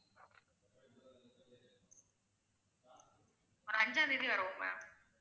ஒரு அஞ்சாம் தேதி வருவோம் ma'am